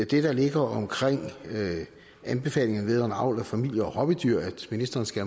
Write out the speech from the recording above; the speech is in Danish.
der ligger om anbefalingerne vedrørende avl af familie og hobbydyr at ministeren skal